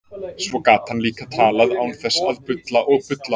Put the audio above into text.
Svo gat hann líka talað án þess að bulla og bulla.